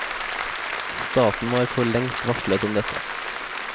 Staten var forlengst varslet om dette.